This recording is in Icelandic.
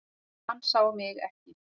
Hann sá mig ekki.